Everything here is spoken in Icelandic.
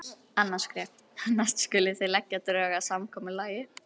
Annað skref: Næst skulið þið leggja drög að samkomulagi.